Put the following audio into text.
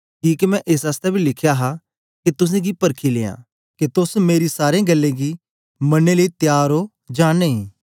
किके मैं एस आसतै बी लिखया हा के तुसेंगी परखी लियां के तोस मेरी सारी गल्लें गी मनने लेई त्यार ओ जां नेई